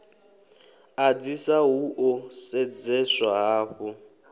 ḓadzisa hu ḓo sedzeswa hafhu